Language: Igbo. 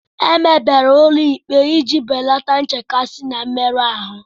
Emebere ụlọ ikpe iji belata nchekasị na mmerụ ahụ